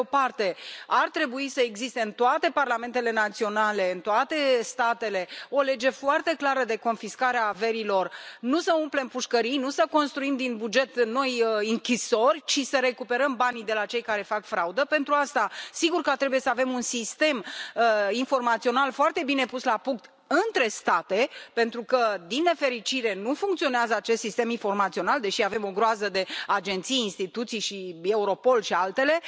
Pe de o parte, ar trebui să existe în toate parlamentele naționale, în toate statele o lege foarte clară de confiscare a averilor, nu să umplem pușcării, nu să construim din buget noi închisori, ci să recuperăm banii de la cei care fac fraudă. Pentru asta trebuie să avem un sistem informațional foarte bine pus la punct între state, pentru că, din nefericire, nu funcționează acest sistem informațional, deși avem o groază de agenții, instituții și Europol și altele.